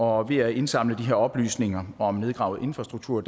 og ved at indsamle de her oplysninger om nedgravet infrastruktur